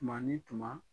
Tuma ni tuma